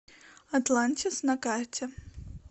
атлантис на карте